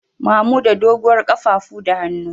Mamuda doguwar kafafu da hannu.